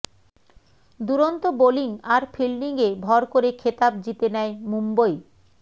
দুরন্ত বোলিং আর ফিল্ডিংয়ে ভর করে খেতাব জিতে নেয় মুম্বই